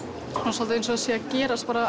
soldið eins og það sé að gerast